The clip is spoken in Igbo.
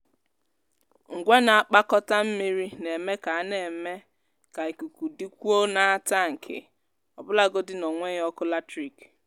ngwa na-akpakọta mmiri na-eme ka na-eme ka ikuku dịkwuo n’atankị ọbụlagodi n’enweghị ọkụ latrik.